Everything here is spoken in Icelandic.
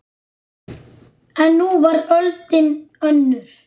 En nú var öldin önnur.